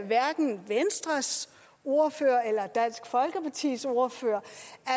hverken venstres ordfører eller dansk folkepartis ordfører